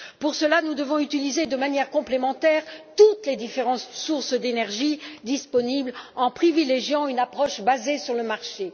Pour cela, nous devons utiliser de manière complémentaire toutes les différentes sources d'énergie disponibles en privilégiant une approche basée sur le marché.